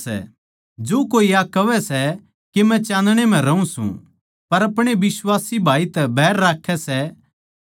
हे बाळकों मै थमनै इस करकै लिखूँ सूं के यीशु कै नाम तै थारै पाप माफ होए सै